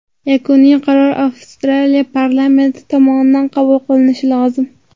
Yakuniy qaror Avstriya parlamenti tomonidan qabul qilinishi lozim.